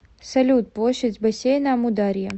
салют площадь бассейна амударья